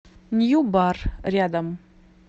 нью бар рядом